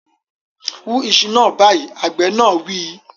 Wú iṣu náà báyìí, Àgbẹ̀ náà wí